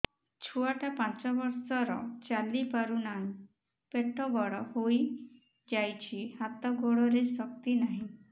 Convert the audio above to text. ଛୁଆଟା ପାଞ୍ଚ ବର୍ଷର ଚାଲି ପାରୁ ନାହି ପେଟ ବଡ଼ ହୋଇ ଯାଇଛି ହାତ ଗୋଡ଼ରେ ଶକ୍ତି ନାହିଁ